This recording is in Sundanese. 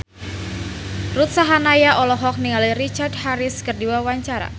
Ruth Sahanaya olohok ningali Richard Harris keur diwawancara